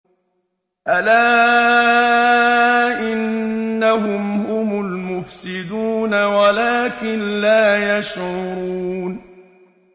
أَلَا إِنَّهُمْ هُمُ الْمُفْسِدُونَ وَلَٰكِن لَّا يَشْعُرُونَ